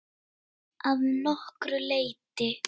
Að nokkru leyti.